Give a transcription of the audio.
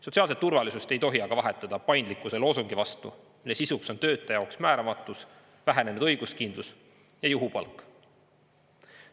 Sotsiaalset turvalisust ei tohi aga vahetada paindlikkuse loosungi vastu, mille sisuks on töötaja jaoks määramatus, vähenenud õiguskindlus ja juhupalk.